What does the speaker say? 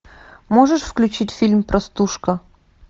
можешь включить фильм простушка